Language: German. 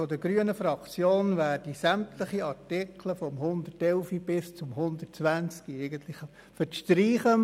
Die grüne Fraktion empfiehlt, sämtliche Artikel von Artikel 110 bis 120 zu streichen.